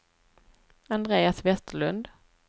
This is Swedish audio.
Andreas Vesterlund